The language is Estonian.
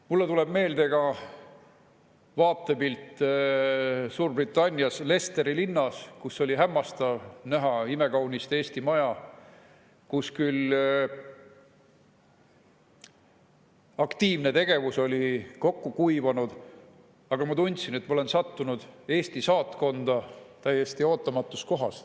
Mulle tuleb meelde ka vaatepilt Suurbritannias Leicesteri linnas, kus oli hämmastav näha imekaunist Eesti Maja, kus küll aktiivne tegevus oli kokku kuivanud, aga ma tundsin, et ma olen sattunud Eesti saatkonda täiesti ootamatus kohas.